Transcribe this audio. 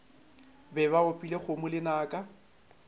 be ba opile kgomo lenaka